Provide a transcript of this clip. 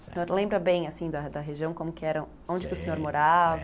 O senhor lembra bem assim da da região, como que era, onde que o senhor morava?